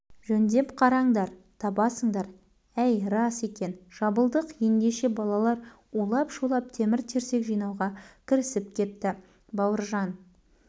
жөндеп қараңдар табасыңдар әй рас екен жабылдық ендеше балалар улап-шулап темір-терсек жинауға кірісіп кеп кетті бауыржан